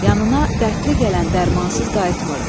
Yanına dərdli gələn dərmansız qayıtmırdı.